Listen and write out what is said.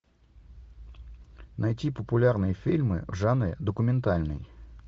найти популярные фильмы в жанре документальный